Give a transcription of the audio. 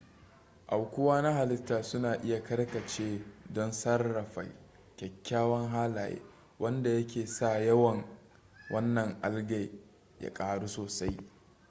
aukuwa na halitta suna iya karkace don sarrafa kyakkyawan halaye wanda yake sa yawan wannan algae ya ƙaru sosai